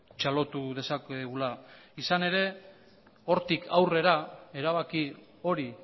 txalotu dezakegula izan ere hortik aurrera erabaki hori